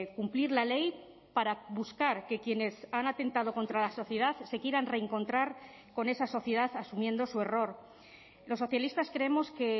cumplir la ley para buscar que quienes han atentado contra la sociedad se quieran reencontrar con esa sociedad asumiendo su error los socialistas creemos que